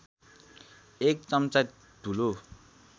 एक चम्चा धुलो